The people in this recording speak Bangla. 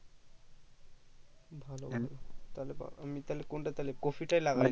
ভালো ভালো তাহলে বা আমি তাহলে কোনটা তাহলে কপি তা লাগাই